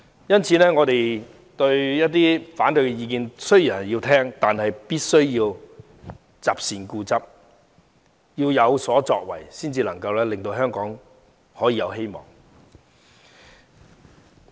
因此，雖然我們也要聆聽反對意見，但必須擇善固執、有所作為，才能令香港有希望。